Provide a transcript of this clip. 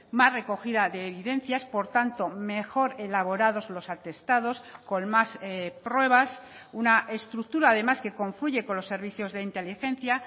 más recogida de evidencias por tanto mejor elaborados los atestados con más pruebas una estructura además que confluye con los servicios de inteligencia